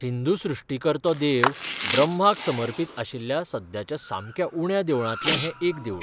हिंदू सृश्टीकर्तो देव ब्रह्माक समर्पित आशिल्ल्या सद्याच्या सामक्या उण्या देवळांतलें हें एक देवूळ.